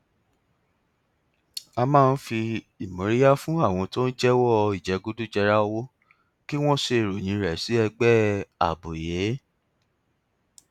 a máa ń fi ìmóríyá fún àwọn tó ń jẹwọ ìjẹgúdújẹra owó kí wọn ṣe ìròyìn rẹ sí ẹgbẹ àbòyé